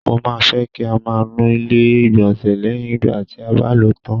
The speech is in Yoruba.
Mo máa fẹ kí a má nu ilẹ ilé igbọnsẹ lẹyìn ìgbà tí a bá ló tán.